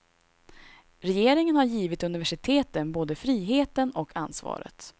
Regeringen har givit universiteten både friheten och ansvaret.